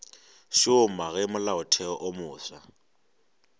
šoma ge molaotheo wo mofsa